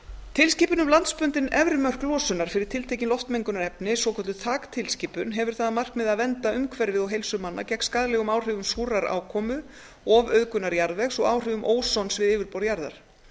tilskipun um landsbundin efri mörk losunar fyrir tiltekin loftmengunarefni svokölluð þaktilskipun hefur það að markmiði að vernda umhverfið og heilsu manna gegn skaðlegum áhrifum súrrar ákomu ofauðgunar jarðvegs og áhrifum ósons við yfirborð jarðar